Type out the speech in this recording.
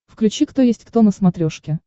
включи кто есть кто на смотрешке